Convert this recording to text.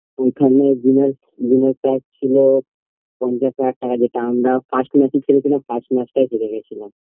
ওখানে ছিল পঞ্চাশ হাজার টাকা যেটা আমরা first match খেলেছিলাম first match টা হেরে গেছিলাম